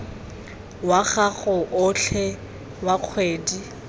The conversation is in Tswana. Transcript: wa gago otlhe wa kgwedi